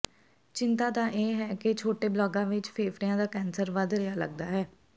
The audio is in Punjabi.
ਚਿੰਤਾ ਦਾ ਇਹ ਹੈ ਕਿ ਛੋਟੇ ਬਾਲਗਾਂ ਵਿੱਚ ਫੇਫੜਿਆਂ ਦਾ ਕੈਂਸਰ ਵਧ ਰਿਹਾ ਲੱਗਦਾ ਹੈ